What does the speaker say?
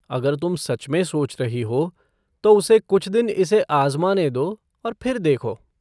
अगर तुम सच में सोच रही हो तो उसे कुछ दिन इसे आज़माने दो और फिर देखो।